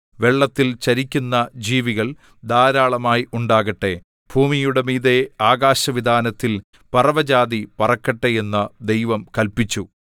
വെള്ളത്തിൽ ചരിക്കുന്ന ജീവികൾ ധാരാളമായി ഉണ്ടാകട്ടെ ഭൂമിയുടെ മീതെ ആകാശവിതാനത്തിൽ പറവജാതി പറക്കട്ടെ എന്ന് ദൈവം കല്പിച്ചു